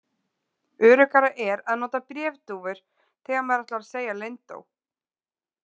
Öruggara er að nota bréfdúfur þegar maður ætlar að segja leyndó.